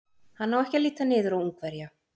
Hann á ekki að líta niður á Ungverja.